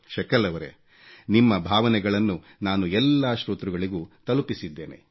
ಶಕಲ್ ರವರೇ ನಿಮ್ಮ ಭಾವನೆಗಳನ್ನು ನಾನು ಎಲ್ಲಾ ಶ್ರೋತೃಗಳಿಗೂ ತಲುಪಿಸಿದ್ದೇನೆ